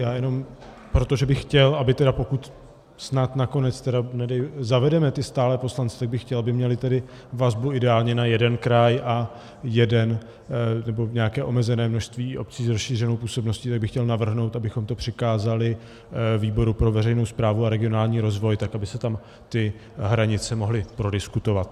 Já jenom, protože bych chtěl, aby tedy pokud snad nakonec tedy zavedeme ty stálé poslance, tak bych chtěl, aby měli tedy vazbu ideálně na jeden kraj a jednu nebo nějaké omezené množství obcí s rozšířenou působností, tak bych chtěl navrhnout, abychom to přikázali výboru pro veřejnou správu a regionální rozvoj, tak aby se tam ty hranice mohly prodiskutovat.